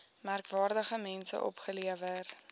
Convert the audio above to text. merkwaardige mense opgelewer